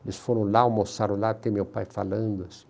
Eles foram lá, almoçaram lá, tem meu pai falando, assim.